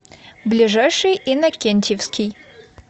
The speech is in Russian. ближайший иннокентьевский